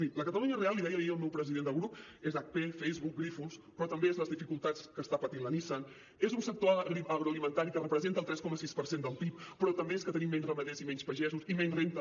miri la catalunya real l’hi deia ahir el meu president de grup és hp facebook grifols però també és les dificultats que està patint la nissan és un sector agroalimentari que representa el tres coma sis per cent del pib però també és que tenim menys ramaders i menys pagesos i menys renda